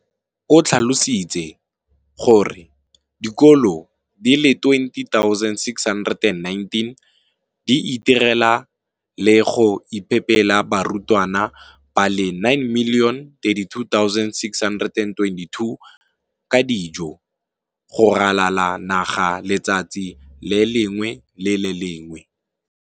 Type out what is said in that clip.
O tlhalositse gore dikolo di le 20 619 di itirela le go iphepela barutwana ba le 9 032 622 ka dijo go ralala naga letsatsi le lengwe le le lengwe.